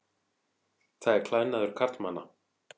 Það er klæðnaður karlmanna.